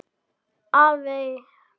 Æðey þar undir.